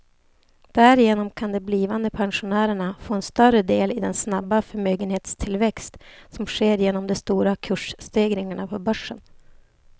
Därigenom kan de blivande pensionärerna få en större del i den snabba förmögenhetstillväxt som sker genom de stora kursstegringarna på börsen.